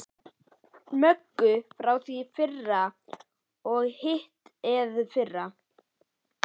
Möggu frá því í fyrra og hitteðfyrra.